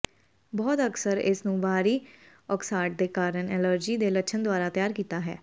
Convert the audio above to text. ਬਹੁਤ ਅਕਸਰ ਇਸ ਨੂੰ ਬਾਹਰੀ ਉਕਸਾਹਟ ਦੇ ਕਾਰਨ ਐਲਰਜੀ ਦੇ ਲੱਛਣ ਦੁਆਰਾ ਤਿਆਰ ਕੀਤਾ ਹੈ